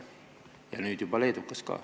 Ja nüüd juba leedukas ka.